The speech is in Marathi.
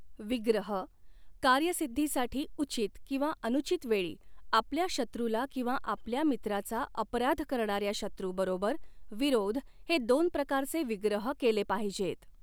विग्रहः कार्यसिद्धीसाठी उचित किंवा अनुचित वेळी आपल्या शत्रूला किंवा आपल्या मित्राचा अपराध करणाऱ्या शत्रूबरोबर विरोध हे दोन प्रकारचे विग्रह केले पाहिजेत.